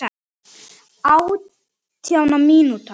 Átjánda mínúta.